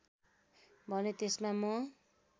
भने त्यसमा म